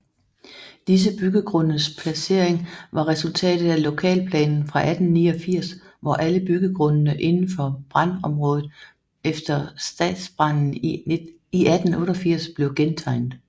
Disse byggegrundes placering var resultatet af lokalplanen fra 1889 hvor alle byggegrundene indenfor brandområdet efter stadsbranden i 1888 blev gentegnet